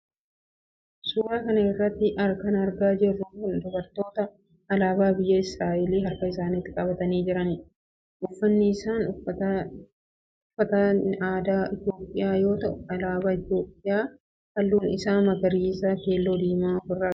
Suuraa kana irratti kana agarru dubartoota alaabaa biyya Israa'el harka isaanitti qabatanii jiranidha. Uffanni isaan uffatan uffata aadaa Itiyoophiyaa yoo ta'u alaabaa itiyoophiyaa halluun isaa magariisa, keellool fi diimaa of irraa qaba.